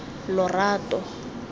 lorato